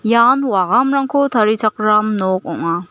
ian wagamrangko tarichakram nok ong·a.